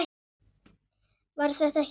Var þetta ekki gaman?